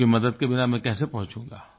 आपकी मदद के बिना मैं कैसे पहुंचूंगा